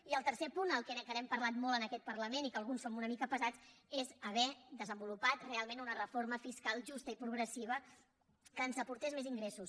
i el tercer punt del qual hem parlat molt en aquest parlament i que alguns som una mica pesats és haver desenvolupat realment una reforma fiscal justa i progressiva que ens aportés més ingressos